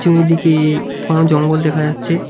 চারিদিকে ঘন জঙ্গল দেখা যাচ্ছে।